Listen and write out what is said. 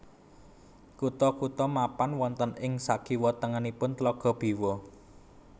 Kutha kutha mapan wonten ing sakiwa tengenipun Tlaga Biwa